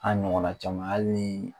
A ɲɔgɔnna caman al nii